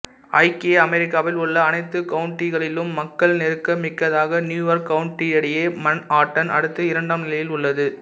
ஐக்கிய அமெரிக்காவில் உள்ள அனைத்து கவுன்ட்டிகளிலும் மக்கள்நெருக்க மிக்கதாக நியூயார்க் கவுன்ட்டியை மன்ஹாட்டன் அடுத்து இரண்டாம் நிலையில் உள்ளது